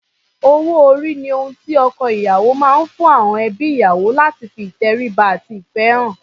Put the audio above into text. Owó-orí ni ohun tí ọkọ-ìyàwó máa ń fún àọn ẹbí ìyàwó láti fi ìtẹríba àti ìfẹ́ hàn.